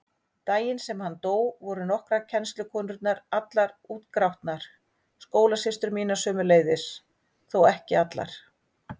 Daginn sem hann dó voru nokkrar kennslukonurnar allar útgrátnar, skólasystur mínar sömuleiðis, þó ekki allar.